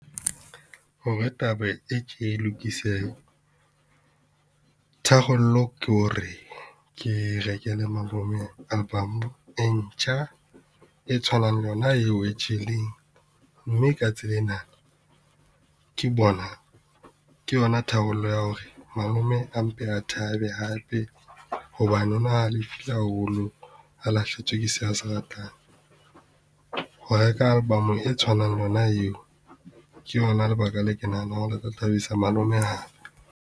Hore taba e tje e lokisehe tharollo ke hore ke rekele malome album e ntjha e tshwanang le yona eo e tjheleng, mme ka tsela ena ke bona ke yona tharollo ya hore malome a mpe a thabe hape hobane o na halefile haholo a lahlehetswe ke seo a se ratang. Ho reka album e tshwanang le yona yeo, ke yona lebaka leo ke nahanang hore le tla thabisa malome hape.